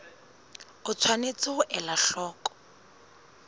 o tshwanetse ho ela hloko